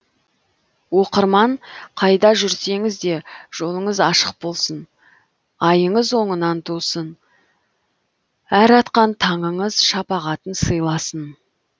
оқырман қайда жүрсеңіз де жолыңыз ашық болсын айыңыз оңынан тусын әр атқан таңыңыз шапағатын сыйласын